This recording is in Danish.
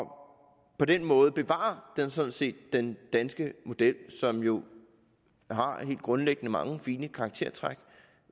på den måde bevarer man sådan set den danske model som jo helt grundlæggende har mange fine karaktertræk